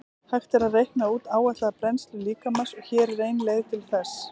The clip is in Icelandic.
Hægt er að reikna út áætlaða brennslu líkamans og hér er ein leið til þess.